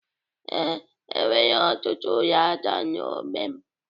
Ee, e nwere ọtụtụ ụlọ aja na n'ogbe m.